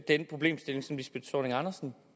den problemstilling som lisbeth zornig andersen